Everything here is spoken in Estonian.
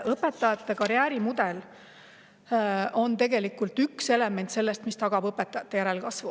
Õpetajate karjäärimudel on tegelikult üks element, mis tagab õpetajate järelkasvu.